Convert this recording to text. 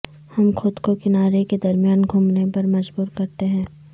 ہم خود کو کنارے کے درمیان گھومنے پر مجبور کرتے ہیں